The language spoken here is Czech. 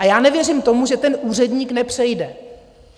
A já nevěřím tomu, že ten úředník nepřejde.